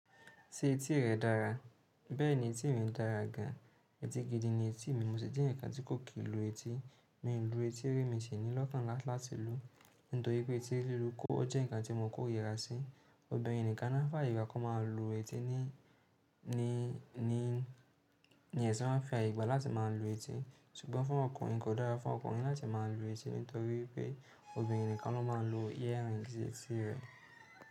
Ṣé etí rẹ dára? Bẹ́ẹ̀ni etí mi dàra gan. Etí gidi ni etí mi. Mo sì jẹ́ eyaǹkan tí kò kì n lu etí. Mi ń lu etí ri mi si ní lọ́kàn lá láti lú nítorí pé etí lílu ò jẹ́ ǹkan tí mo kò rira sí. Obìnrin nìkan náà fáàyè gba kí wọ́n máa lu etí, ní ẹṣin wáa ń fi àyè gbà láti máa lu etí. Ṣùgbọ́n fún ọkùnrin kò dára fún ọkùnrin láti má a lu etí nítorí pé obìnrin nìkan ló máa ń lo earrings sí etí rẹ̀